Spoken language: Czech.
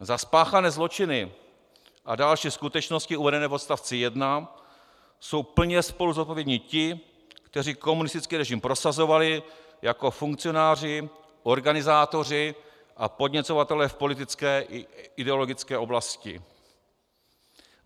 Za spáchané zločiny a další skutečnosti uvedené v odstavci 1 jsou plně spoluzodpovědní ti, kteří komunistický režim prosazovali jako funkcionáři, organizátoři a podněcovatelé v politické i ideologické oblasti.